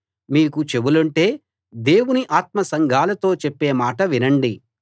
మీకు చెవులుంటే దేవుని ఆత్మ సంఘాలతో చెప్పే మాట వినండి